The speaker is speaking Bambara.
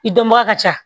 I dɔnbaga ka ca